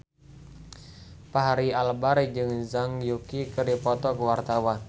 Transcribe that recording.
Fachri Albar jeung Zhang Yuqi keur dipoto ku wartawan